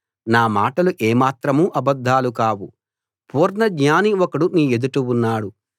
నా మాటలు ఏమాత్రం అబద్ధాలు కావు పూర్ణ జ్ఞాని ఒకడు నీ ఎదుట ఉన్నాడు